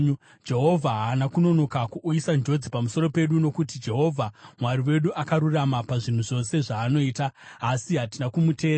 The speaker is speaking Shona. Jehovha haana kunonoka kuuyisa njodzi pamusoro pedu, nokuti Jehovha Mwari wedu akarurama pazvinhu zvose zvaanoita; asi hatina kumuteerera.